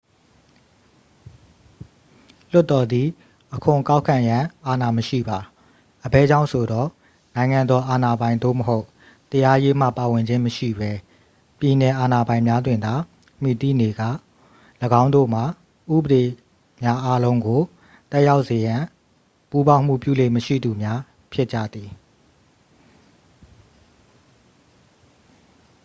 လွှတ်တော်သည် အခွန်ကောက်ခံရန် အာဏာမရှိပါ အဘယ်ကြောင့်ဆိုသော် နိုင်ငံတော် အာဏာပိုင်သို့မဟုတ် တရားရေးမှ ပါဝင်ခြင်းမရှိပဲ ပြည်နယ်အာဏာပိုင်များတွင်သာ မှီတည်နေကာ ၎င်းတို့မှာ ဥပဒေများအားလုံးကို သက်ရောက်စေရေး ပူးပေါင်းမှုပြုလေ့မရှိသူများဖြစ်ကြသည်